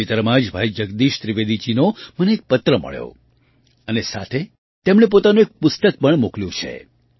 તાજેતરમાં જ ભાઈ જગદીશ ત્રિવેદીજીનો મને એક પત્ર મળ્યો અને સાથે તેમણે પોતાનું એક પુસ્તક પણ મોકલ્યું છે